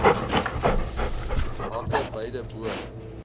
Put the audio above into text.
hake beide bo